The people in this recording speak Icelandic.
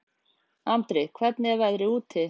Andri, hvernig er veðrið úti?